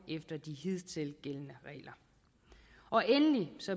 efter de hidtil gældende regler endelig